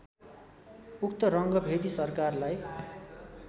उक्त रङ्गभेदी सरकारलाई